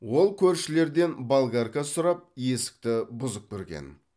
ол көршілерден болгарка сұрап есікті бұзып кірген